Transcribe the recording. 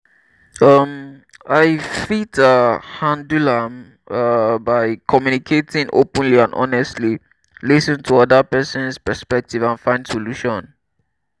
um i fit um handle am um by communicating openly and honestly lis ten to oda person's perspective and find solution.